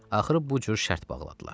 Axırı bu cür şərt bağladılar.